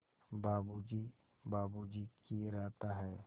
बाबू जी बाबू जी किए रहता है